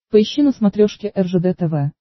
поищи на смотрешке ржд тв